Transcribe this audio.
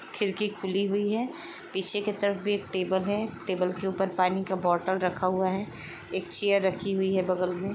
खिरकी खुली हुई है। पीछे के तरफ भी एक टेबल है टेबल के ऊपर पानी का बॉटल रखा हुआ है। एक चेयर रखी हुई है बगल में।